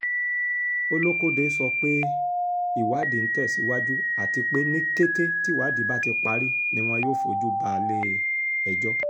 olókóde sọ pé ìwádìí ń tẹ̀ síwájú àti pé ní kété tíwádìí bá ti parí ni wọn yóò fojú balẹ̀-ẹjọ́